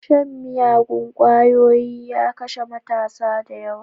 Shan miyagun kwayoyi ya kashe matasa da yawa.